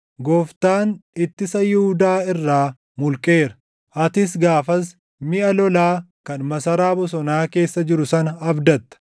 Gooftaan ittisa Yihuudaa irraa mulqeera. Atis gaafas miʼa lolaa kan Masaraa Bosonaa keessa jiru sana abdatta.